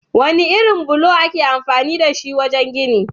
Wane irin bulo ake amfani dashi wajen gini?